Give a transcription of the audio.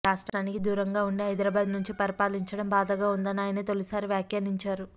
రాష్ట్రానికి దూరంగా ఉండి హైదరాబాద్ నుంచి పరిపాలించటం బాధగా ఉందని ఆయన తొలిసారి వ్యాఖ్యానించారు